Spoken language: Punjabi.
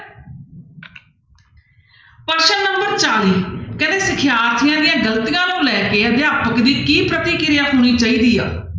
ਪ੍ਰਸ਼ਨ number ਚਾਲੀ ਕਹਿੰਦੇ ਸਿਖਿਆਰਥੀਆਂ ਦੀਆਂ ਗ਼ਲਤੀਆਂ ਨੂੰ ਲੈ ਕੇ ਅਧਿਆਪਕ ਦੀ ਕੀ ਪ੍ਰਤਿਕਿਰਿਆ ਹੋਣੀ ਚਾਹੀਦੀ ਹੈ?